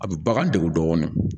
A bɛ bagan degu dɔɔni